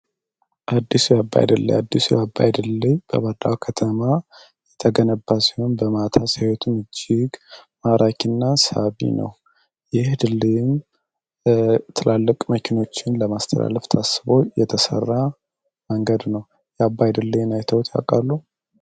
አዲሱ ያባይድላይ አዲሱ ያባይድልይ በባላው ከተማ የተገነባ ሲሆን በማታ ሳዩቱን እጅግ ማራኪና ሳቢ ነው ይህ ድለይም ትላልቅ መኪኖችን ለማስተላለፍት አስቦ የተሰራ መንገድ ነው የአባይ ድልይ ናይተውት ያቃሉ